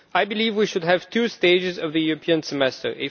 I believe we should have two stages of the European Semester.